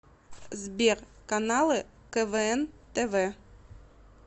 сбер каналы квн тв